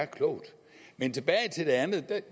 klogt men tilbage til det andet